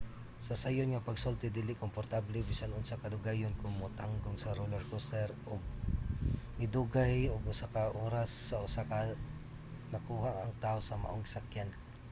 sa sayon nga pagsulti dili komportable bisan unsa kadugayon kon matanggong sa roller coaster ug nidugay ug mga usa ka oras usa nakuha ang taw sa maong gisakyan